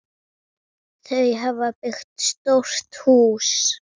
Þau hafa byggt stórt hús.